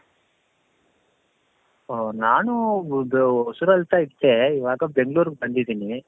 ಓ ನಾನೂ ಹೊಸೂರಲ್ಲಿ ಇದ್ದೆ. ಈಗ ಯಾಕೋ ಬೆಂಗಳೂರಿಗೆ ಬಂದಿದ್ದೆ.